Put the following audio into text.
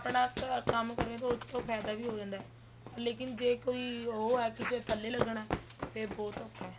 ਆਪਣਾ ਕੰਮ ਕਰੋਗੇ ਗਏ ਤਾਂ ਫ਼ੈਦਾ ਵੀ ਹੋ ਜਾਂਦਾ ਏ ਲੇਕਿਨ ਜ਼ੇ ਕੋਈ ਉਹ ਹੈ ਕਿਸੇ ਦੇ ਥੱਲੇ ਲੱਗਣਾ ਫ਼ੇਰ ਬਹੁਤ ਔਖਾ ਹੈ